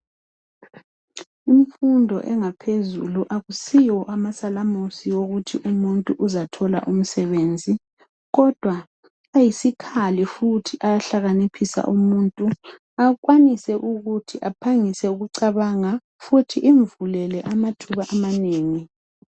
Imfundo engaphezulu akusiwo amasalamusi okuthi umuntu uzathola umsebenzi, kodwa ayisikhali futhi ayahlakaniphisa umuntu, akwanise ukuthi aphangise ukucabanga futhi Imvulele amathuba amanengi.